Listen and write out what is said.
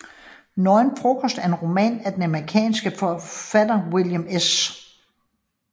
Nøgen Frokost er en roman af den amerikanske forfatter William S